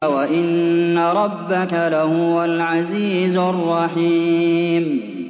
وَإِنَّ رَبَّكَ لَهُوَ الْعَزِيزُ الرَّحِيمُ